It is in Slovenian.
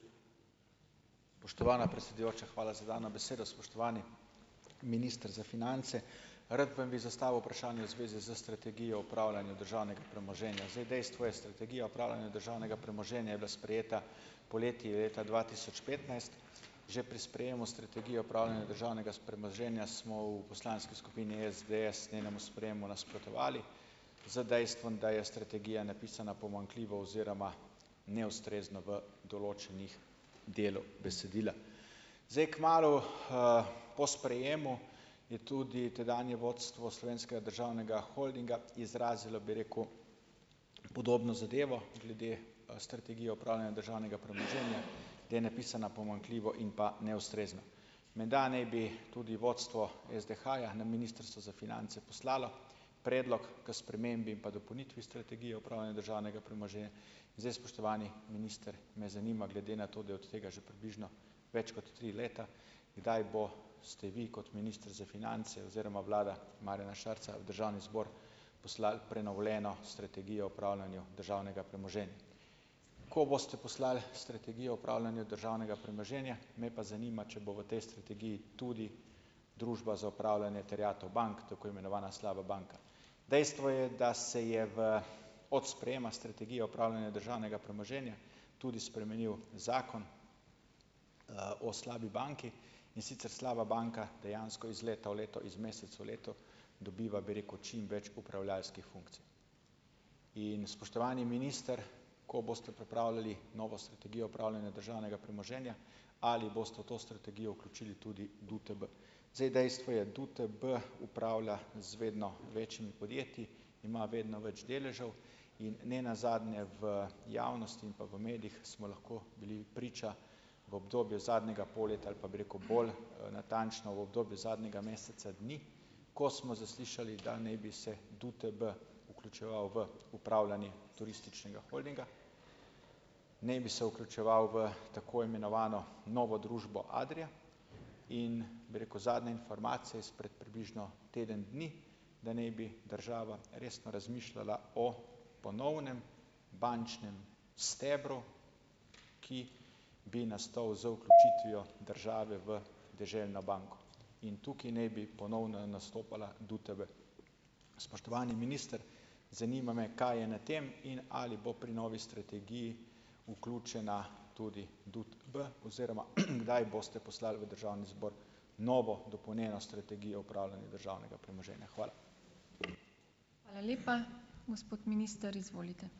Spoštovana predsedujoča, hvala za dano besedo. Spoštovani minister za finance! Rad vam bi zastavil vprašanje v zvezi s strategijo upravljanja državnega premoženja. Zdaj, dejstvo je, strategija upravljanja državnega premoženja je bila sprejeta poleti leta dva tisoč petnajst. Že pri sprejemu strategije upravljanja državnega premoženja smo v poslanski skupini SDS njenemu sprejemu nasprotovali z dejstvom, da je strategija napisana pomanjkljivo oziroma neustrezno v določenih delih besedila. Zdaj, kmalu, po sprejemu je tudi tedanje vodstvo Slovenskega državnega holdinga izrazilo, bi rekel, podobno zadevo glede, strategije upravljanja državnega premoženja, da je napisana pomanjkljivo in pa neustrezno. Menda naj bi tudi vodstvo SDH-ja na Ministrstvo za finance poslalo predlog k spremembi pa dopolnitvi strategije upravljanja državnega Zdaj, spoštovani minister, me zanima, glede na to, da je od tega že približno več kot tri leta, kdaj bo ste vi kot minister za finance oziroma vlada Marjana Šarca v državni zbor poslal prenovljeno strategijo upravljanju državnega premoženja? Ko boste poslal strategijo upravljanja državnega premoženja, me pa zanima, če bo v tej strategiji tudi Družba za upravljanje terjatev bank, tako imenovana slaba banka. Dejstvo je, da se je v od sprejema strategije upravljanja državnega premoženja tudi spremenil zakon, o slabi banki, in sicer slaba banka dejansko iz leta v leto iz mesec v leto dobiva, bi rekel, čim več upravljavskih funkcij. In, spoštovani minister, ko boste pripravljali novo strategijo upravljanja državnega premoženja, ali boste v to strategijo vključili tudi DUTB? Zdaj, dejstvo je, DUTB upravlja z vedno večjimi podjetji, ima vedno več deležev in ne nazadnje v javnosti in pa v medijih smo lahko bili priča v obdobju zadnjega pol leta ali pa, bi rekel, bolj, natančno, v obdobju zadnjega meseca dni, ko smo zaslišali, da naj bi se DUTB vključeval v upravljanje turističnega holdinga, naj bi se vključeval v tako imenovano novo družbo Adria, in bi rekel, zadnje informacije izpred približno teden dni, da naj bi država resno razmišljala o ponovnem bančnem stebru, ki bi nastal z vključitvijo države v Deželno banko in tukaj naj bi ponovno nastopala DUTB. Spoštovani minister! Zanima me, kaj je na tem in ali bo pri novi strategiji vključena tudi DUTB oziroma, kdaj boste poslali v državni zbor novo dopolnjeno strategijo upravljanja državnega premoženja. Hvala.